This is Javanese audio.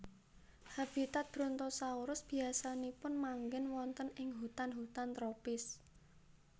Habitat Brontosaurus biasanipun manggen wonten ing hutan hutan tropis